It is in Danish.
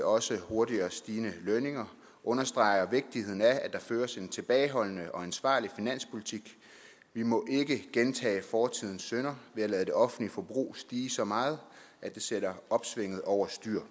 også hurtigere stigende lønninger og understreger vigtigheden af at der føres en tilbageholdende og ansvarlig finanspolitik vi må ikke gentage fortidens synder ved at lade det offentlige forbrug stige så meget at det sætter opsvinget over styr